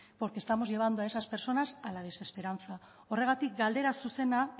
porque estamos llevando a esas personas a la desesperanza horregatik galdera zuzena